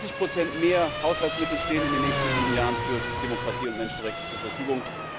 Zwanzig Prozent mehr Haushaltsmittel stehen in den nächsten sieben Jahren für Demokratie und Menschenrechte zur Verfügung.